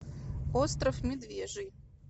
остров медвежий